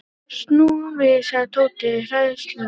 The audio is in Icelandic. Snúum við sagði Tóti hræðslulega.